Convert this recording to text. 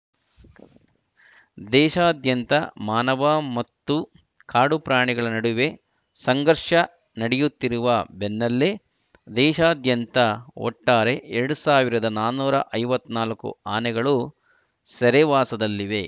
ದೇಶಾದ್ಯಂತ ಮಾನವ ಮತ್ತು ಕಾಡು ಪ್ರಾಣಿಗಳ ನಡುವಿನ ಸಂಘರ್ಷದ ನಡೆಯುತ್ತಿರುವ ಬೆನ್ನಲ್ಲೇ ದೇಶಾದ್ಯಂತ ಒಟ್ಟಾರೆ ಎರಡ್ ಸಾವಿರದ ನಾನೂರ ಐವತ್ತ್ ನಾಲ್ಕು ಆನೆಗಳು ಸೆರೆವಾಸದಲ್ಲಿವೆ